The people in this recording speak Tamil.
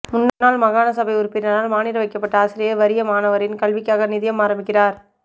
முன்னாள் மாகான சபை உறுப்பினரால் மானிட வைக்கப்பட்ட ஆசிரியை வறிய மாணவரின் கல்விக்காக நிதியம் ஆரம்பிக்கிறார்